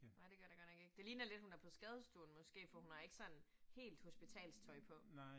Nej, det gør det godt nok ikke. Det ligner lidt, hun er på skadestuen måske, for hun har ikke sådan helt hospitalstøj på